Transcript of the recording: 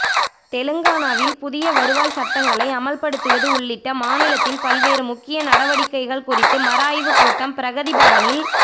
தெலுங்கானாவில் புதிய வருவாய் சட்டங்களை அமல்படுத்துவது உள்ளிட்ட மாநிலத்தின் பல்வேறு முக்கிய நடவடிக்கைகள் குறித்த மறுஆய்வு கூட்டம் பிரகதிபவனில்